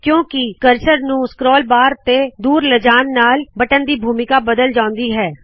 ਕਯੁੰ ਕਿ ਕਰਸਰ ਨੂ scroll bar ਤੋ ਦੂਰ ਲੈ ਜਾਣ ਨਾਲ ਬਟਨ ਦੀ ਭੂਮਿਕਾ ਬਦਲ ਜਾਉਂਦੀ ਹੈ